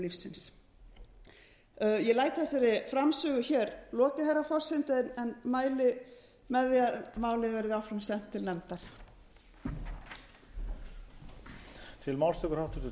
lífsins ég læt þessari framsögu hér lokið herra forseti en mæli með því að málið verði áframsent til nefndar